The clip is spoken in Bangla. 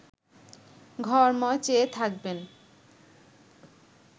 ঘরময় চেয়ে থাকবেন